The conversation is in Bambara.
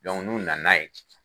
Dɔnku n'u nana n'a ye